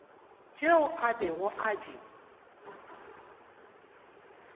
tšeo a bego a di